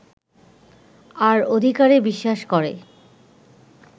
আর অধিকারে বিশ্বাস করে